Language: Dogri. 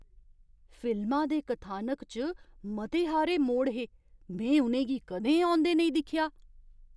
फिल्मा दे कथानक च मते हारे मोड़ हे! में उ'नें गी कदें औंदे नेईं दिक्खेआ।